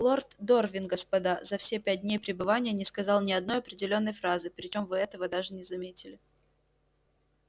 лорд дорвин господа за все пять дней пребывания не сказал ни одной определённой фразы причём вы этого даже не заметили